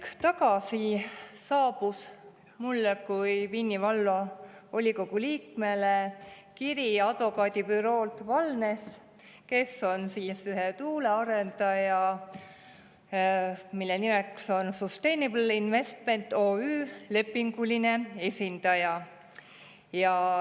Hetk tagasi saabus mulle kui Vinni Vallavolikogu liikmele kiri advokaadibüroolt Walless, kes on ühe tuulearendaja, mille nimeks on Sustainable Investments OÜ, lepinguline esindaja.